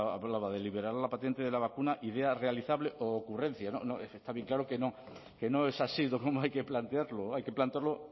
hablaba de liberar la paciente de la vacuna idear realizable u ocurrencia está bien claro que no que no es así como hay que plantearlo hay que plantearlo